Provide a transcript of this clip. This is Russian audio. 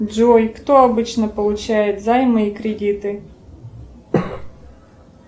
джой кто обычно получает займы и кредиты